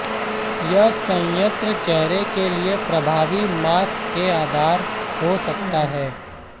यह संयंत्र चेहरे के लिए प्रभावी मास्क के आधार हो सकता है